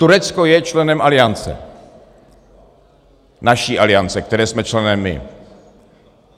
Turecko je členem Aliance, naší Aliance, které jsme členem my.